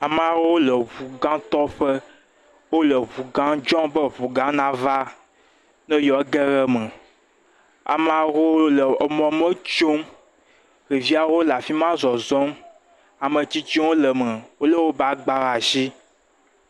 Ame aɖewo le ʋugatɔƒe wole ʋuga dzɔm be ʋuga nava ne yewo ageɖe eme ame aɖewo le mɔ me tsom ɖeviwo le afima zɔzɔm ametsitsiwo le eme wole woƒe agbawo ɖe asi